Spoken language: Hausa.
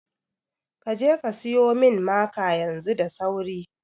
Kaje ka siyo min maka yanzu da sauri